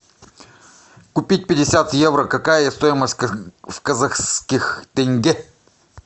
купить пятьдесят евро какая стоимость в казахских тенге